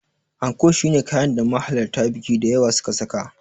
Anko shine kayan da mahalarta biki da yawa suka saka.